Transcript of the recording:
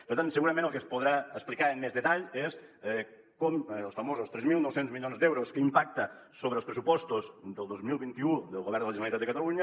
per tant segurament el que es podrà explicar amb més detall és com els famosos tres mil nou cents milions d’euros que impacten sobre els pressupostos del dos mil vint u del govern de la generalitat de catalunya